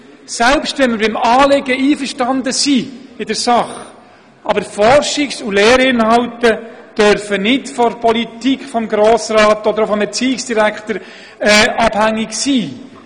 Selbst wenn wir in der Sache mit dem Anliegen einverstanden sind, dürfen doch Forschungs- und Lehrinhalte nicht von der Politik, vom Grossen Rat oder auch vom Erziehungsdirektor abhängig sein.